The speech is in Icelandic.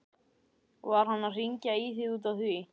Var hann að hringja í þig út af því?